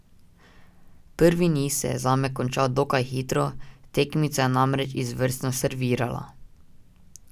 Prvi niz se je zame končal dokaj hitro, tekmica je namreč izvrstno servirala.